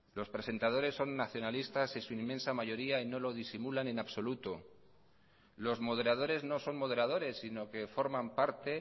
los presentadores son nacionalistas en su inmensa mayoría y no lo disimulan en absoluto los moderadores no son moderadores sino que forman parte